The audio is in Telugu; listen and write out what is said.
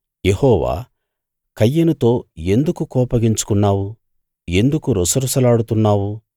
యెహోవా కయీనుతో ఎందుకు కోపగించుకున్నావు ఎందుకు రుసరుసలాడుతున్నావు